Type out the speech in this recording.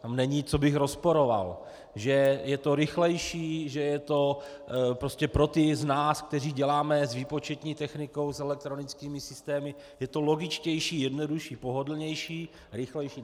Tam není, co bych rozporoval, že je to rychlejší, že je to prostě pro ty z nás, kteří děláme s výpočetní technikou, s elektronickými systémy, je to logičtější, jednodušší, pohodlnější, rychlejší.